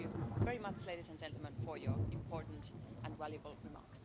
Thank you very much, ladies and gentlemen, for your important and valuable remarks.